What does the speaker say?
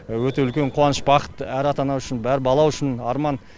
өте үлкен қуаныш бақыт әр ата ана үшін әр бала үшін арман